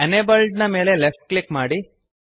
enabled ದ ಮೇಲೆ left click ಮಾಡಿರಿ